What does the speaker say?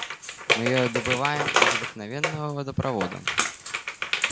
мы её добываем из обыкновенного водопровода